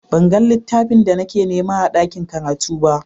Ban gan littafin da nake nema a ɗaƙin karatu ba.